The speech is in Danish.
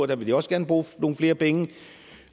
der vil de også gerne bruge nogle flere penge